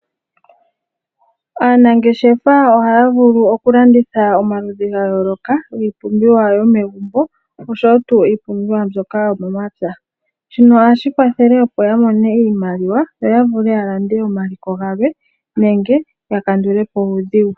Aanangeshefa ohaya vulu oku landutha omaludhi ga yooloka giipumbiwa yomegumbo oshowo tuu iipumbiwa yomomapya. Shino ohashi kwathele opo yamone iimaliwa, yoya vule yalande omaliko galwe nenge yakandule po uudhigu.